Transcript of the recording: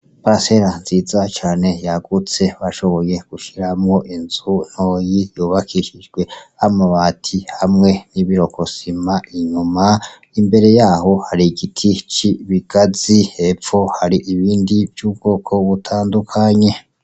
Paracera nziza cane yagutse bashoboye gushiramwo inzu ntoyi, yubakishijwe n'amabati hamwe nibirokosima inyuma, imbere yaho hari igiti c'ikigazi hepfo hari ibindi vy'ubwoko butandandukanye.